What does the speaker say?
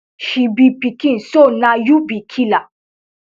she be pikin so na you be killer